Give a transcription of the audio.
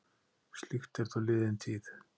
Slíkt er þó liðin tíð.